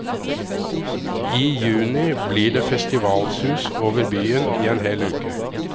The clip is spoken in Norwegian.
I juni blir det festivalsus over byen i en hel uke.